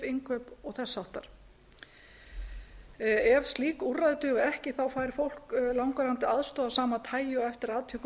innkaup og þess háttar ef slík úrræði duga ekki þá fær fólk langvarandi aðstoð af sama tagi og eftir atvikum